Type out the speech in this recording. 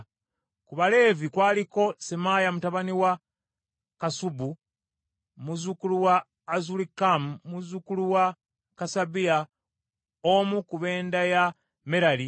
Ku baleevi kwaliko: Semaaya mutabani wa Kassubu, muzzukulu wa Azulikamu, muzzukulu wa Kasabiya, omu ku b’enda ya Merali,